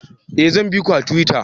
Eh zan biki a tuwita